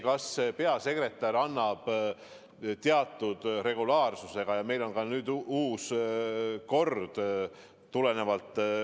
Kas peasekretär annab teatud regulaarsusega erakonnas infot laekumiste kohta?